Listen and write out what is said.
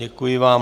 Děkuji vám.